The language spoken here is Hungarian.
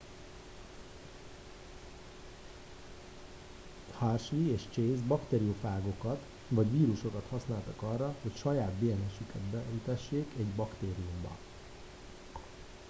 hershey és chase bakteriofágokat vagy vírusokat használtak arra hogy saját dns üket beültessék egy baktériumba